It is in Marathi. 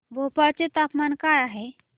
भोपाळ चे तापमान काय आहे